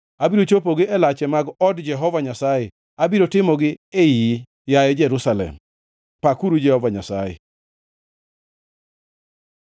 abiro chopogi e lache mag od Jehova Nyasaye abiro timogi e iyi, yaye Jerusalem. Pakuru Jehova Nyasaye!